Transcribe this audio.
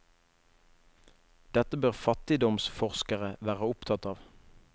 Dette bør fattigdomsforskere være opptatt av.